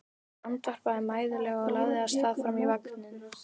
Hún andvarpaði mæðulega og lagði af stað fram í vagninn.